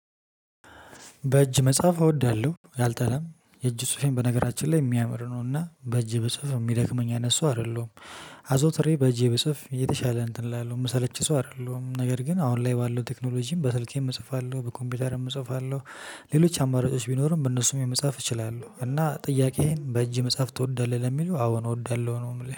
በእጅ መጻፍ እወዳለሁ አልጠላም የእጁ ጽሁፌን በነገራችን ላይ የሚያምር ነው እና በእጄ ብጽፍ የሚደክመኝ አይነት ሰው አይደለሁም። አዞትሬ በጄ ብጽፍ የተሻለ እንትን እላለው የምሰለች ሰው አይደለሁም ነገር ግን አሁን ላይ ባለው ቴክኖሎጂም በስልኬም እጽፋለሁ በኮምፒውተርም እጽፋለሁ። ሌሎች አማራጮች ቢኖሩም በእነሱም የመጻፍ እችላለሁ እና ጥያቄዬን በእጅ መጻፍ ትወዳለህ ለሚለው አዎ ነው እወዳለሁ ነው የምለው